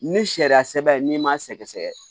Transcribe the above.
Ni sariya sɛbɛ n'i m'a sɛgɛsɛgɛ